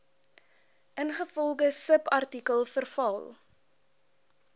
ingevolge subartikel verval